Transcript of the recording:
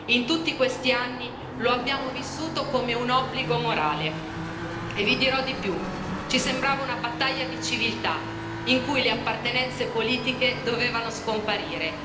In tutti questi anni lo abbiamo vissuto come un obbligo morale, e vi dirò di più, ci sembrava una battaglia di civiltà in cui le appartenenze politiche dovevano scomparire.